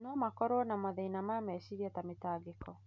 no makorũo na mathĩna ma meciria ta mĩtangĩko.